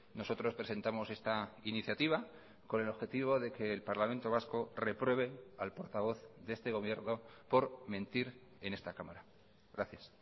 nosotros presentamos esta iniciativa con el objetivo de que el parlamento vasco repruebe al portavoz de este gobierno por mentir en esta cámara gracias